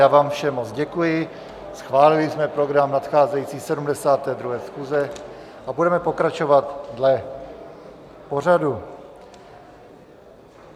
Já vám všem moc děkuji, schválili jsme program nadcházející 72. schůze a budeme pokračovat dle pořadu.